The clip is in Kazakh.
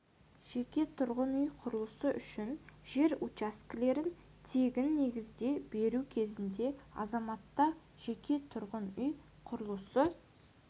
жеке тұрғын үй құрылысы үшін жер учаскелерін тегін негізде беру кезінде азаматта жеке тұрғын үй құрылысы